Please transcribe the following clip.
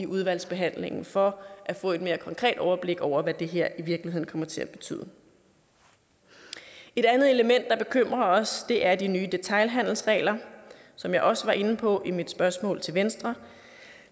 udvalgsbehandlingen for at få et mere konkret overblik over hvad det her kommer til at betyde et andet element der bekymrer os er de nye detailhandelsregler som jeg også var inde på i mit spørgsmål til venstre